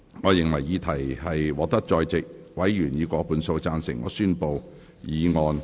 我認為議題獲得在席委員以過半數贊成。